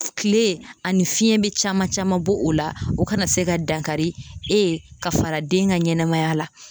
Kile ani fiɲɛ be caman caman bɔ o la o kana se ka dankari e ka fara den ka ɲɛnɛmaya la